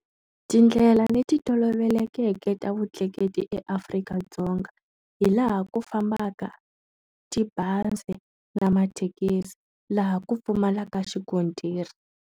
Tindlela leti tolovelekeke ta vutleketli eAfrika-Dzonga. hi laha ku fambaka tibazi na mathekisi. Laha ku pfumalaka xikontiri.